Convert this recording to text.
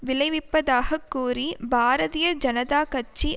விளைவிப்பதாகக் கூறி பாரதிய ஜனதா கட்சி